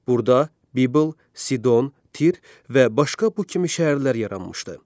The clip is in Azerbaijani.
Burda Bibl, Sidon, Tir və başqa bu kimi şəhərlər yaranmışdı.